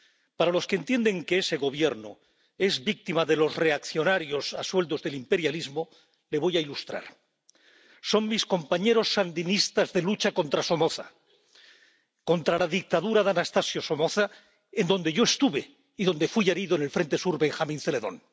Para los que entienden que ese Gobierno es víctima de los reaccionarios a sueldo del imperialismo, les voy a ilustrar son mis compañeros sandinistas de lucha contra Somoza, contra la dictadura de Anastasio Somoza, en donde yo estuve y donde fui herido en el frente sur Benjamín Zeledón.